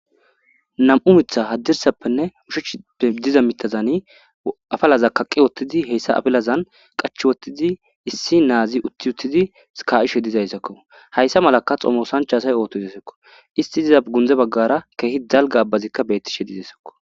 nam7u mitha haddirsappenne hushechippe diza mitazani afalaza kaqqi wottidi heyssa afalazan qach wottidi issi naazi uttiuttizi ska7ishe dizayssakko hayssa malaka xomosancha asay ootto hidesakko isti diza gunze baggara keehi dalga abbazikka bettishe dizaysakko